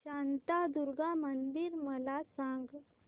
शांतादुर्गा मंदिर मला सांग